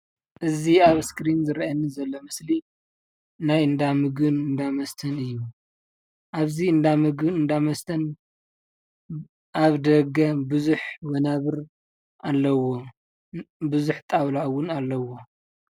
እዚ ኣብ እስክሪን ዝረኣ ዘሎ ምስሊ ናይኣብዚ እንዳምግብን እንዳመስተንእዩ፣ ኣብዚ እንዳምግብን እንዳመስተን ብዛሓት ወናብርንኣለዎም ብዙሕ ጣውላን እውን ኣለዎም፡፡